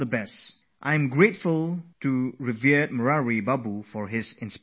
I am also grateful to our revered Murari Bapu for such a nice message